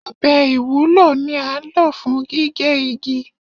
Ọbẹ̀ ìwúlò ni án ló fún gigẹ́ igi